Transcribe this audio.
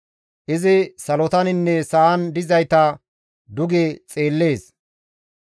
Izi salotaninne sa7an dizayta duge xeellees.